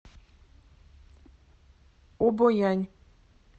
обоянь